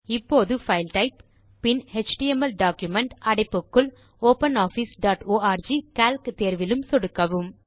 இப்போது file type பின் HTML document - அடைப்புக்குள் ஒப்பனாஃபிஸ் டாட் ஆர்க் கால்க் தேர்விலும் சொடுக்கவும்